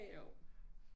Jo